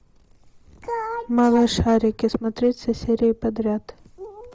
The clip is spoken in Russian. малышарики смотреть все серии подряд